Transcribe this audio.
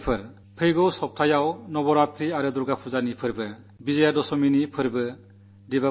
എന്റെ പ്രിയപ്പെട്ട ദേശവാസികളേ അടുത്തയാഴ്ച നവരാത്രിയും ദുർഗ്ഗാപൂജയും വിജയദശമിയും ആഘോഷിക്കയാണ്